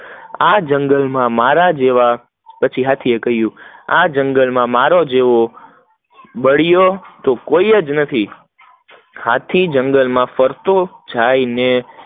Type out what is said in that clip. આ જંગલ માં મેરા જેવા પછી હાથી એ કહીંયુ, આ જંગલ માં મારા જેવૂં બળિયો કોઈ નથી, હાથી જંગલ માં ફરતો જાય ને